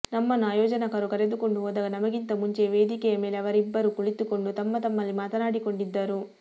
ನಮ್ಮನ್ನು ಆಯೋಜಕರು ಕರೆದುಕೊಂಡು ಹೋದಾಗ ನಮಗಿಂತ ಮುಂಚೆಯೇ ವೇದಿಕೆಯ ಮೇಲೆ ಅವರಿಬ್ಬರೂ ಕುಳಿತುಕೊಂಡು ತಮ್ಮತಮ್ಮಲ್ಲಿ ಮಾತಾಡಿಕೊಂಡಿದ್ದರು